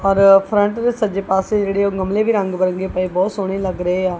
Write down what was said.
ਔਰ ਫਰੰਟ ਦੇ ਸੱਜੇ ਪਾਸੇ ਜਿਹੜੇ ਉਹ ਗਮਲੇ ਵੀ ਰੰਗ ਬਰਾਂਗੇ ਪਏ ਬਹੁਤ ਸੋਹਣੇ ਲੱਗ ਰਹੇ ਆ।